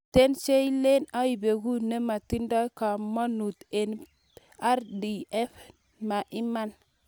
"Mitei che leen iboegu nematindoi komonut eng RPF, ma iman.